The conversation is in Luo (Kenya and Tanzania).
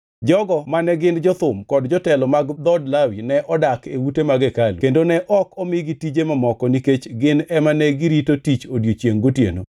Jogo mane gin jothum kod jotelo mag dhood Lawi ne odak e ute mag hekalu kendo ne ok omigi tije mamoko nikech gin ema negirito tich odiechiengʼ gotieno.